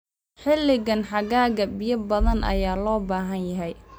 Xilliga xagaaga, biyo badan ayaa loo baahan yahay.